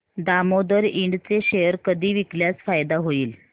Damodar Ind चे share कधी विकल्यास फायदा होईल